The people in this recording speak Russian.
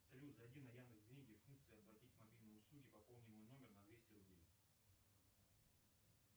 салют зайди на яндекс деньги функция оплатить мобильные услуги пополни мой номер на двести рублей